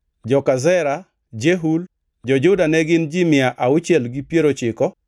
Joka Zera: Jeul. Jo-Juda ne gin ji mia auchiel gi piero ochiko (690).